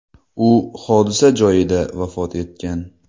U hodisa joyida vafot etgan.